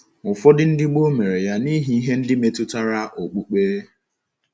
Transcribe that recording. Ụfọdụ ndị gboo mere ya n’ihi ihe ndị metụtara okpukpe.